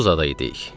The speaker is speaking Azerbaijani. Tulluzada idik.